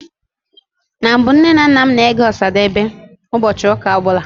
Na mbụ, Nne na nna m na-ege Ọsadebe ụbọchị ụka ọbụla